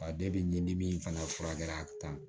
Ba ni dimi fana furakɛra tan